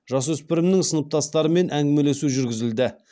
жасөспірімнің сыныптастарымен әңгімелесу жүргізілді